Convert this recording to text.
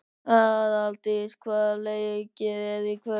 Aðaldís, hvaða leikir eru í kvöld?